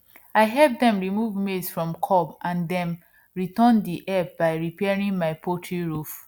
i help dem remove maize from cob and dem return the help by repairing my poultry roof